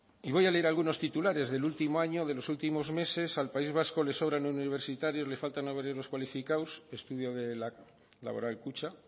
y voy a leer algunos titulares del último año de los últimos meses al país vasco le sobran universitarios le faltan obreros cualificados estudio de laboral kutxa